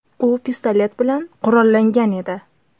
U pistolet bilan qurollangan edi.